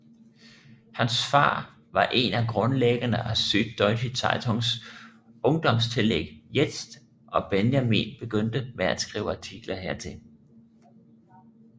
Hans far var en af grundlæggerne af Süddeutsche Zeitungs ungdomstillæg Jetzt og Benjamin begyndte med at skrive artikler hertil